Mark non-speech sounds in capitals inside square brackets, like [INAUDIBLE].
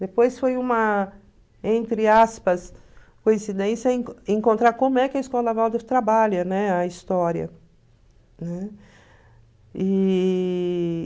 Depois foi uma, entre aspas, coincidência [UNINTELLIGIBLE] encontrar como é que a Escola Waldorf trabalha, né, a história. Né? E...